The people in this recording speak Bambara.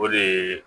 O de ye